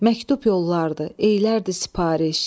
Məktub yollardır, eylərdir sipariş.